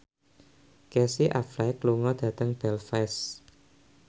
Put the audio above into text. Casey Affleck lunga dhateng Belfast